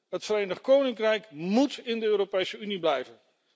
Het Verenigd Koninkrijk moet in de Europese Unie blijven.